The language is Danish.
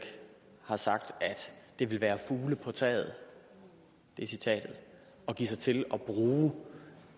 har sagt at det vil være fugle på taget det er citatet at give sig til at bruge